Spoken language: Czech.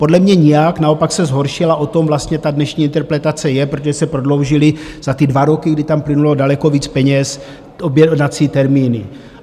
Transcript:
Podle mě nijak, naopak se zhoršila - o tom vlastně ta dnešní interpelace je - protože se prodloužily za ty dva roky, kdy tam plynulo daleko víc peněz, objednací termíny.